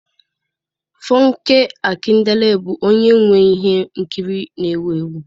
funke Akindele bụ onye nwe ihe nkiri na-ewu ewu.